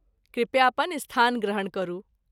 कृपया अपन स्थान ग्रहण करू।